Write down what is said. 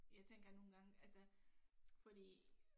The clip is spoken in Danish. Jeg tænker nogle gange altså fordi